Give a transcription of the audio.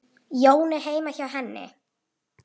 Jóni heima hjá henni.